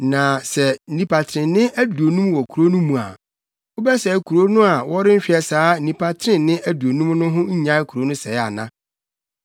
Na sɛ nnipa trenee aduonum wɔ kurow no mu a, wobɛsɛe kurow no a worenhwɛ saa nnipa trenee aduonum no ho nnyae kurow no sɛe ana?